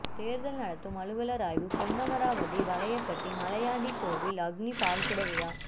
தேர்தல் நடத்தும் அலுவலர் ஆய்வு பொன்னமராவதி வலையபட்டி மலையாண்டி கோயிலில் அக்னி பால்குட விழா